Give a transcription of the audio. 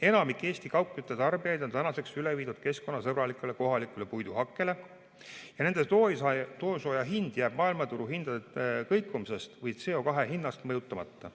Enamik Eesti kaugküttetarbijaid on tänaseks üle viidud keskkonnasõbralikule kohalikule puiduhakkele ja nende toasooja hind jääb maailmaturuhindade kõikumisest või CO2 hinnast mõjutamata.